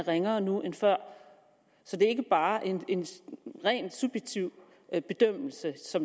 ringere nu end før så det er ikke bare en rent subjektiv bedømmelse